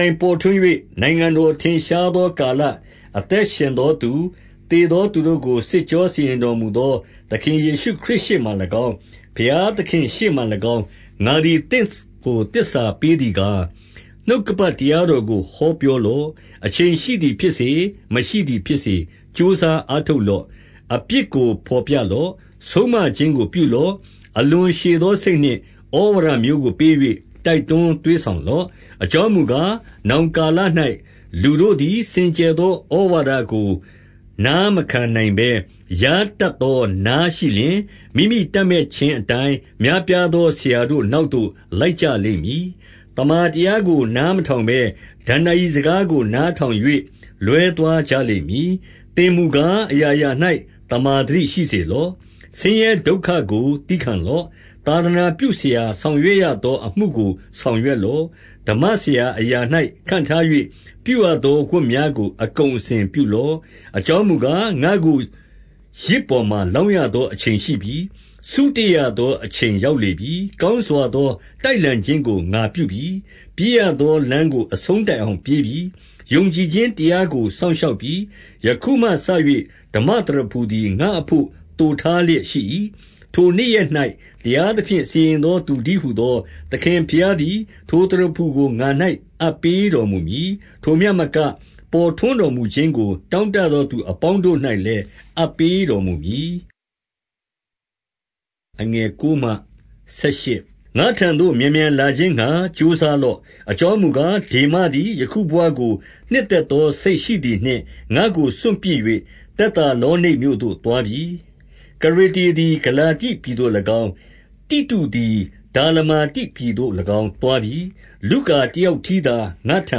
ိုင်ပေါ်ထွန်း၍ နိုင်ငံတော်ထင်ရှားသောကာလ၊ အသက်ရှင်သောသူ၊ သေသော သူတို့ကိုစစ်ကြော စီရင်တော်မူသော သခင်ယေရှုခရစ် ရှေ့မှာ၎င်း၊ ဘုရားသခင်ရှေ့မှာ၎င်း၊ ငါသည် သင့်ကို သစ္စာပေးသည်ကား၊ 2 နှုတ်ကပတ်တရားတော်ကို ပြောလော့။ အချိန်ရှိသည်ဖြစ်စေ၊ မရှိသည်ဖြစ်စေ၊ ကြိုးစားအားထုတ်လော့။ အပြစ်ကိုဘော်ပြလော့။ ဆုံးမခြင်းကိုပြုလော့။ အလွန်ရှည်သောစိတ်နှင့် ဩဝါဒမျိုးကိုပေး၍ တိုက်တွန်းသွေးဆောင်လော့။ 3 အကြောင်းမူကား၊ နောင်ကာလ၌လူတို့သည် စင်ကြယ်သော ဩဝါဒကိုနားမခံနိုင်ဘဲ၊ ယားတတ်သော နားရှိလျှင်၊ မိမိတပ်မက်ခြင်းအတိုင်း များပြားသော ဆရာတို့နောက်သို့ လိုက်ကြလိမ့်မည်။ 4 သမ္မာတရားကို နားမထောင်ဘဲ၊ ဒဏ္ဏာရီစကားကို နားထောင်၍ လွဲသွားကြလိမ့်မည်။ 5 သင်မူကား၊ အရာရာ၌ သမ္မာသတိရှိစေလော့။ ဆင်းရဲဒုက္ခကို သည်းခံလော့။ သာသနာပြုဆရာ ဆောင်ရွက်ရသောအမှုကို ဆောင်ရွက်လော့။ ဓမ္မဆရာအရာ၌ ခန့်ထား၍ ပြုရသောဝတ်များကို အကုန်အစင်ပြုလော့။ 6 အကြောင်းမူကား၊ ငါ့ကိုယဇ်ပေါ်မှာ လောင်းရသော အချိန်ရှိပြီ။ စုတေ့ရသောအချိန် ရောက်လေပြီ။ 7 ကောင်းစွာသော တိုက်လှန်ခြင်းကို ငါပြုပြီ။ ပြေးရသောလမ်းကို အဆုံးတိုင်အောင်ပြေးပြီ။ ယုံကြည် ခြင်းတရားကို စောင့်ရှောက်ပြီ။ 8 ယခုမှစ၍ ဓမ္မသရဖူသည် ငါ့အဘို့သိုထားလျက်ရှိ၏။ ထိုနေ့ရက်၌ တရားသဖြင့် စီရင်သောသူတည်း ဟူသော သခင်ဘုရားသည် ထိုသရဖူကို ငါ၌အပ်ပေးတော်မူမည်။ ထိုမျှမက၊ ပေါ်ထွန်းတော်မူခြင်းကို တောင့် တသောသူအပေါင်းတို့၌လည်း အပ်ပေးတော်မူမည်။ 9 ငါ့ထံသို့ မြန်မြန်လာခြင်းငှါ ကြိုးစားလော့။ အကြောင်းမူကား၊ ဒေမသည် ယခုဘဝကို နှစ်သက်သော စိတ်ရှိသည်နှင့် ငါ့ကိုစွန့်ပစ်၍၊ သက်သာလောနိတ်မြို့သို့သွားပြီ။ 10 ကရက္ကေသည် ဂလာတိပြည်သို့၎င်း၊ တိတုသည် ဒါလမာတိပြည်သို့၎င်း သွားပြီ။ 11 လုကာတယောက်တည်းသာ ငါ့ထံ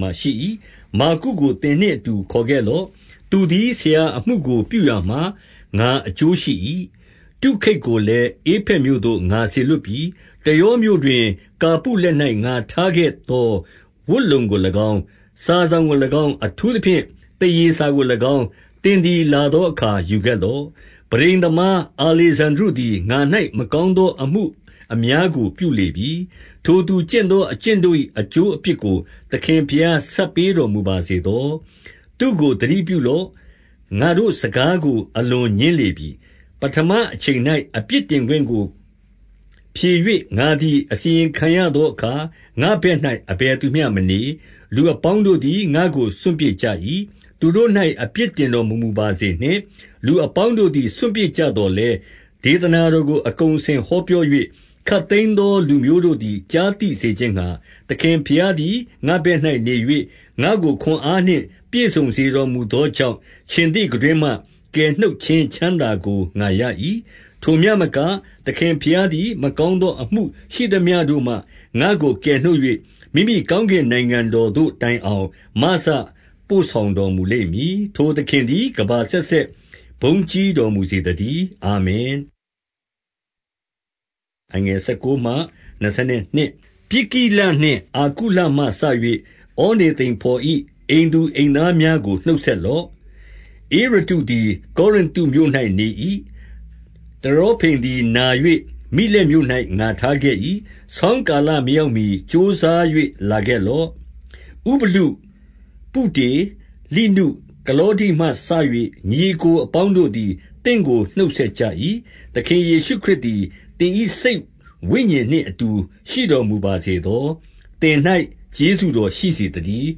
မှာရှိ၏။ မာကုကိုသင်နှင့် အတူခေါ်ခဲ့လော့။ သူသည်ဆရာအမှုကို ပြုရာမှာ ငါအကျိုးရှိ၏။ 12 တုခိတ်ကိုလည်း ဧဖက်မြို့သို့ ငါစေလွှတ်ပြီ။ 13 တရောမြို့တွင်ကာပုလက်၌ ငါထားခဲ့သော ဝတ်လုံကို၎င်း၊ စာစောင်ကို၎င်း၊ အထူးသဖြင့်သားရေစာ ကို၎င်း၊ သင်သည်လာသောအခါ ယူခဲ့လော့။ 14 ပန်းတိမ်သမားအာလေဇန္ဒြုသည် ငါ၌မကောင်း သောအမှုအများကို ပြုလေပြီ။ ထိုသူကျင့်သော အကျင့် တို့၏ အကျိုးအပြစ်ကို သခင်ဘုရား ဆပ်ပေးတော်မူပါစေသော။ 15 သူတို့သတိပြုလော့။ ငါတို့စကားကို အလွန်ငြင်းပယ်လေပြီ။ 16 ပဌမအချိန်၌ အပြစ်တင်ခွင့်ကိုဖြေ၍ ငါသည် အစီရင်ခံရသောအခါ၊ ငါ့ဘက်၌ အဘယ်သူမျှမနေ။ လူအပေါင်းတို့သည် ငါ့ကို စွန့်ပစ်ကြ၏။ 17 သူတို့၌ အပြစ်တင်တော်မမူပါစေနှင့်။ လူအပေါင်းတို့သည် စွန့်ပစ်ကြသော်လည်း၊ ဒေသနာတော် ကို အကုန်အစင်ဟောပြော၍၊ ခပ်သိမ်းသောလူမျိုးတို့သည် ကြားသိစေခြင်းငှါ၊ သခင်ဘုရားသည် ငါ့ဘက်၌ နေ၍ ငါ့ကို ခွန်အားနှင့် ပြည့်စုံစေတော်မူသောကြောင့်၊ ခြင်္သေ့ခံတွင်းမှ ကယ်နှုတ်ခြင်းချမ်းသာကို ငါရ၏။ 18 ထိုမျှမက၊ သခင်ဘုရားသည် မကောင်းသော အမှုရှိသမျှကို ငါ့ကိုကယ်နှုတ်၍၊ မိမိကောင်းကင်နိုင်ငံ တော်သို့တိုင်အောင် မစပို့ဆောင်တော်မူလိမ့်မည်။ ထိုသခင်သည် ကမ္ဘာအဆက်ဆက်ဘုန်းကြီးတော် မူစေ သတည်း။ အာမင်။ 19 ပြစ်ကိလနှင့်အာကုလမှစ၍ ဩနေသိဇော်၏ အိမ်သူအိမ်သားများကို နှုတ်ဆက်လော့။ 20 ဧရက္ကုသည် ကောရိနသုမြို့၌နေ၏။ တရောဇိမ် သည် နာ၍ မိလက်မြို့၌ငါထားခဲ့၏။ 21 ဆောင်းကာလမရောက်မှကြိုးစား၍ လာခဲ့ လော့။ ဥဗုလု၊ ပုဒေ၊ လိနု၊ ကလောဒိမှစ၍ ညီအစ်ကို အပေါင်းတို့သည် သင့်ကို နှုတ်ဆက်ကြ၏။ 22 သခင်ယေရှုခရစ်သည် သင်၏စိတ်ဝိညာဉ်နှင့် အတူရှိတော်မူပါစေသော။ သင်၌ကျေးဇူးတော် ရှိစေ သတည်း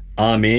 ။ အာမင